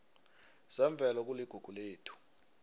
zemvelo kuligugu lethu